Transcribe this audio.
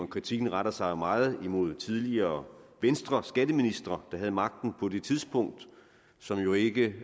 kritikken retter sig jo meget imod tidligere venstreskatteministre der havde magten på det tidspunkt som jo ikke